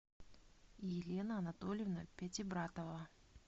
елена анатольевна пятибратова